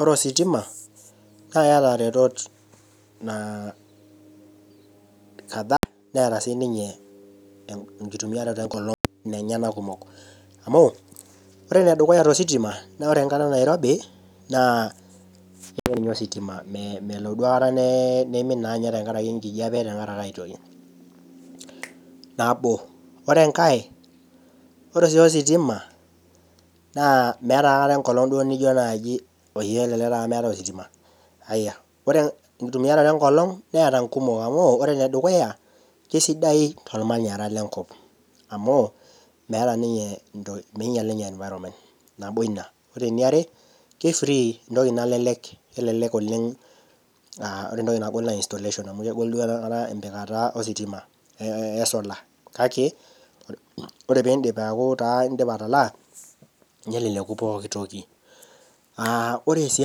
Ore ositima Neeta retot nara naa kadhaa Neeta sininye enkitumiaroto enkolog nenyana kumok amu ore enedukuya tositima naa ore enkata nairobii naa meye ninye ositima melo duo aikata neye nimin tenkaraki aitoki nabo ore enka ore sii ositima naa meeta aikata enkolog nijo meetae taata ositima ore edupeta enkolog Mera kumok amu ore ene dukuya kaisidai tormanyara lenkop amu meeta ninye minyial ninye environment ore eiare entoki nalelek entoki nalelek ore entoki nagol naa installation naa empikata esola kake ore pidip aku edipa aitalama neleleku pookin toki aa ore sii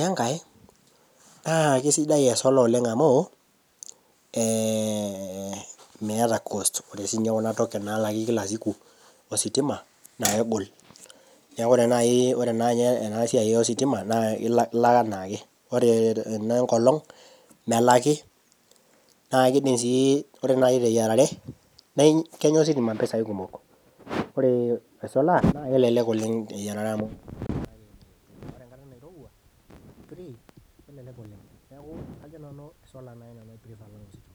enkae naakisidai esolar oleng amu meeta cost ore sininye Kuna token nalaki kila siku ositima naa kegol neeku ore naaji enasiai ositima naa elak enaake ore ene nkolog melaki naa kidim sii ore naaji teyiarare naa kenyaa ositima@mpesai kumok ore esolar naa kelelek oleng ore enkata nairowua kelelek oleng kajo nanu esolar naaji esidai tositima